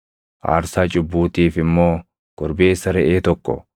aarsaa cubbuutiif immoo korbeessa reʼee tokko,